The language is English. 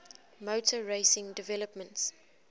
motor racing developments